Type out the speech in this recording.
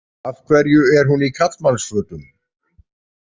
Af hverju er hún í karlmannsfötum?